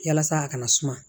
Yalasa a kana suma